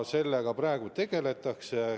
Sellega praegu tegeletakse.